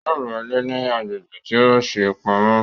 Yóò ra ilé ní agbègbè tí a ṣe pamọ́